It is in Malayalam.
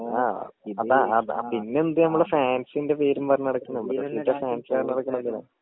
ആ അപ്പൊ അത് പിന്നെ എന്താ നമ്മൾ ഫാൻസിന്റെ പേരും പറഞ്ഞ് നടക്കിണെ പിന്നെ ഫാൻസ്‌ പറഞ്ഞ് നടക്കിണെന്തിനാ